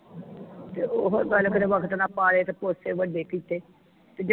ਤੇ ਉਹ ਗੱਲ ਕੀਤੇ ਵਕਤ ਨਾ ਪਾ ਲੈ ਵਡੇ ਕੀਤੇ ਤੇ ਜਾਨ